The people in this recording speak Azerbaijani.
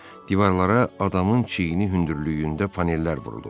Divarlara adamın çiyini hündürlüyündə panellər vurulub.